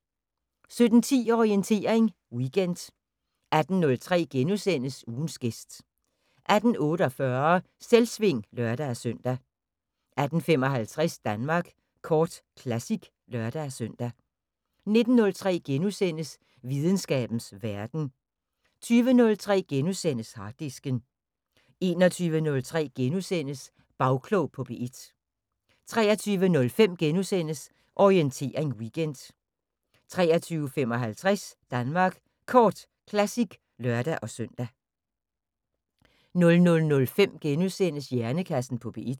17:10: Orientering Weekend 18:03: Ugens gæst * 18:48: Selvsving (lør-søn) 18:55: Danmark Kort Classic (lør-søn) 19:03: Videnskabens Verden * 20:03: Harddisken * 21:03: Bagklog på P1 * 23:05: Orientering Weekend * 23:55: Danmark Kort Classic (lør-søn) 00:05: Hjernekassen på P1 *